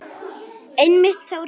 Einmitt þá hringdi síminn.